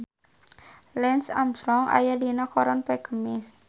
Lance Armstrong aya dina koran poe Kemis